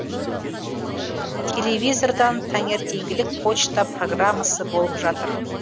телевизордан таңертеңгілік почта программасы болып жатыр